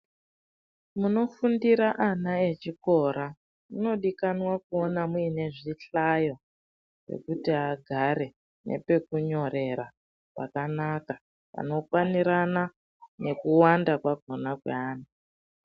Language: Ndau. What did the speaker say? Munofundira ana echikora munodikanwa kuona mune zvihlayo zvekuti agare nepekunyorera pakanaka panokwanirana nekuwanda kwakona kweana.